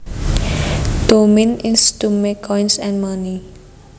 To mint is to make coins and money